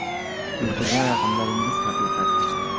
“Keltirgan raqamlaringiz haqiqat.